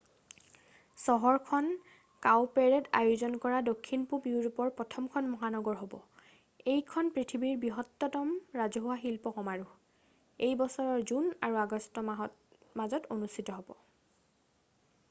চহৰখন কাউপেৰেড আয়োজন কৰা দক্ষিণপূৱ ইউৰোপৰ প্ৰথমখখন মহানগৰ হ'ব এইখন পৃথিৱীৰ বৃহত্তম ৰাজহুৱা শিল্প সমাৰোহ এই বছৰৰ জুন আৰু আগষ্ট মাহৰ মাজত অনুষ্ঠিত হ'ব